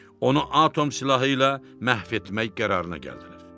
Onu atom silahı ilə məhv etmək qərarına gəldilər.